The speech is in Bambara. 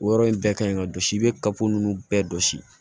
O yɔrɔ in bɛɛ ka ɲi ka jɔsi i bɛ kaba ninnu bɛɛ jɔsi